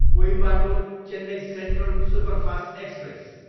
Coimbatore, Chennai central superfast express